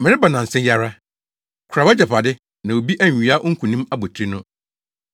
Mereba nnansa yi ara. Kora wʼagyapade, na obi anwia wo nkonim abotiri no.